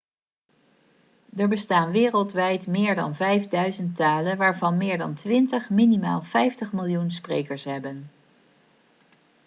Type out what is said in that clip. er bestaan wereldwijd meer dan 5000 talen waarvan meer dan twintig minimaal 50 miljoen sprekers hebben